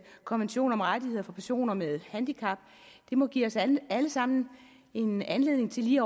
konvention om rettigheder for personer med handicap må give os alle alle sammen en anledning til lige